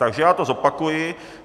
Takže já to zopakuji.